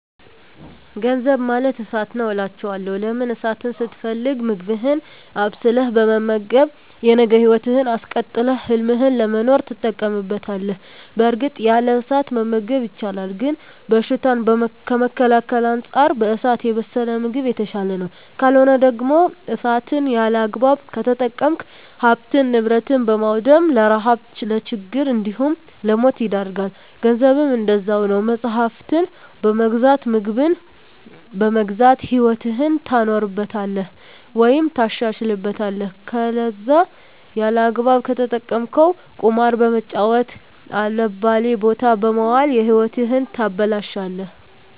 ገንዘብ ማለት እሳት ነዉ አላቸዋለሁ። ለምን እሳትን ስትፈልግ ምግብህን አብስለህ በመመገብ የነገ ህይወትህን አስቀጥለህ ህልምህን ለመኖር ትጠቀምበታለህ በእርግጥ ያለ እሳት መመገብ ይቻላል ግን በሽታን ከመከላከል አንፃር በእሳት የበሰለ ምግብ የተሻለ ነዉ። ካልሆነ ደግሞ እሳትን ያለአግባብ ከተጠቀምክ ሀብትን ንብረት በማዉደም ለረሀብ ለችግር እንዲሁም ለሞት ይዳርጋል። ገንዘብም እንደዛዉ ነዉ መፅሀፍትን በመግዛት ምግብን በመግዛት ህይወትህን ታኖርበታለህ ወይም ታሻሽልበታለህ ከለዛ ያለአግባብ ከተጠቀምከዉ ቁማር በመጫወት አልባሌ ቦታ በመዋል ህይወትህን ታበላሸለህ።